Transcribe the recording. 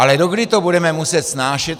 Ale dokdy to budeme muset snášet?